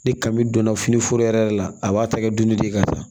Ni kami donna fini foro yɛrɛ yɛrɛ la a b'a ta kɛ dunni de ye ka taa